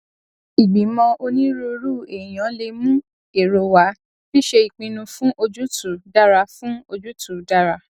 ìgbìmọ onírúurú èèyàn lè mú èrò wá ṣíṣe ìpinnu fún ojútùú dára fún ojútùú dára